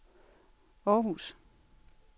Århus